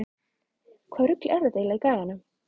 Hvaða rugl er þetta eiginlega í gæjanum?